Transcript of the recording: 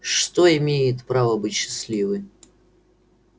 что имеет право быть счастливой